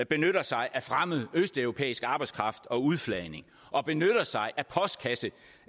benytter sig af fremmed østeuropæisk arbejdskraft og udflagninger og benytter sig